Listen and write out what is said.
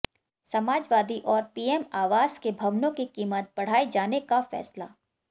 समाजवादी और पीएम आवास के भवनों की कीमत बढ़ाए जाने का फैसला